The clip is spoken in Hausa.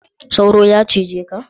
Sauro ya cije ka?